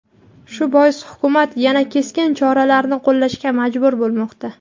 Shu bois Hukumat yana keskin choralarni qo‘llashga majbur bo‘lmoqda.